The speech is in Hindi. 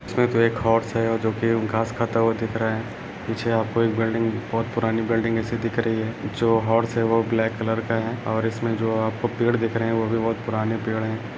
इसमें तो एक हॉर्स है और जो कि घास खाता हुआ दिख रहा है पीछे आपको एक बिल्डिंग बहोत पुरानी बिल्डिंग ऐसी दिख रही है जो हॉर्स है वो ब्लैक कलर का है और इसमें जो आपको पेड़ दिख रहे हैं वो भी बहोत पुराने पेड़ हैं।